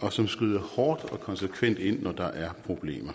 og som skrider hårdt og konsekvent ind når der er problemer